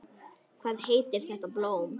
Hvað heitir þetta blóm?